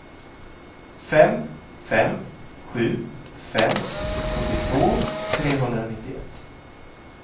fem fem sju fem sjuttiotvå trehundranittioett